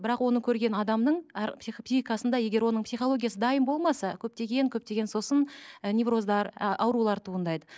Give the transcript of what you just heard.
бірақ оны көрген адамның әр психикасында егер оның психологиясы дайын болмаса көптеген көптеген сосын і невроздар і аурулар туындайды